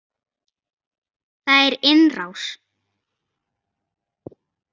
Það er innrás!